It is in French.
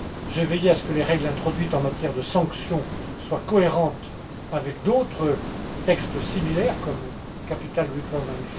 J'ai veillé à ce que les règles introduites en matière de sanctions soient cohérentes avec d'autres textes similaires, comme la CRD